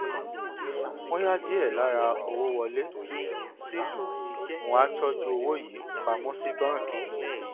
wọn ya díè lára owó wọlé sílù wón á tójú owó yìí pa mó sí báńkì